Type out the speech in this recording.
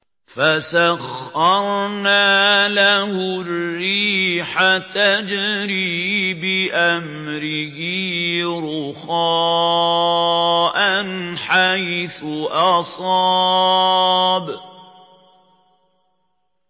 فَسَخَّرْنَا لَهُ الرِّيحَ تَجْرِي بِأَمْرِهِ رُخَاءً حَيْثُ أَصَابَ